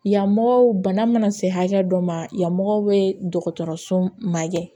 Yamɔgɔ bana mana se hakɛ dɔ ma yan mɔgɔw bɛ dɔgɔtɔrɔso magɛ